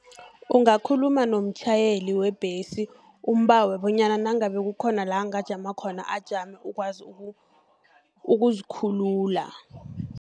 Ungakhuluma nomtjhayeli webhesi umbawe, bonyana nangabe kukhona la, angajama khona, ajame ukwazi ukuzikhulula.